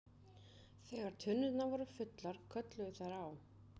Þegar tunnurnar voru fullar kölluðu þær á